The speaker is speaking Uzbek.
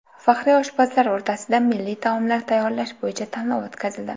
Faxriy oshpazlar o‘rtasida milliy taomlar tayyorlash bo‘yicha tanlov o‘tkazildi.